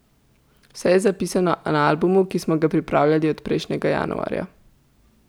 Vse je zapisano na albumu, ki smo ga pripravljali od prejšnjega januarja.